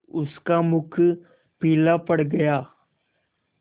उसका मुख पीला पड़ गया